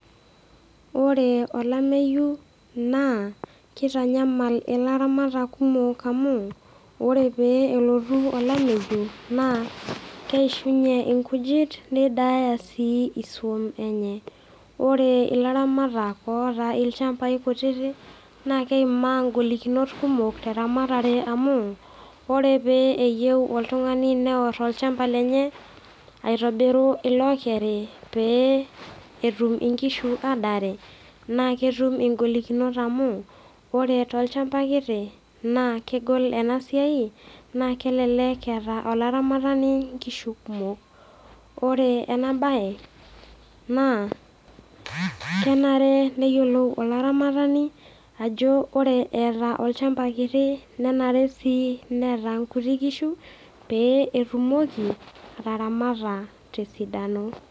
Ore olameyu naa keitanyamal ilaramatak kumok amu, ore pee elotu olameyu naa keishuunye inkujit neidaaya sii iswaam enye. Ore ilaramatak ooata ilchambai kutitik, naa keimaa ingolikinot kumok teramatare amu, ore pee eyou oltung'ani neor olchamba lenye aitobiru ilookeri peeyie etum inkishu adaare, na ketum ing'olikinot amu ore tolchamba kiti naa kegol ena siai naa naa kelelek eata olaramatani inkishu kumok, ore ena baye baa kenare neyolou olaramatani ajo ore eata olchamba kiti nenare neata inkutik kishu, pee etumoki ataramata te esidano.